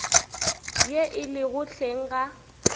ye e lego hleng ga